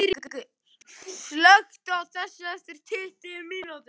Snæringur, slökktu á þessu eftir tuttugu mínútur.